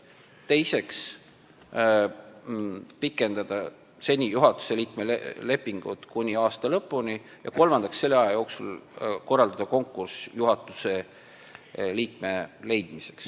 Teiseks otsustati pikendada juhatuse liikme lepingut kuni aasta lõpuni ja kolmandaks korraldada selle aja jooksul konkurss juhatuse liikme leidmiseks.